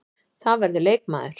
Það verður leikmaður.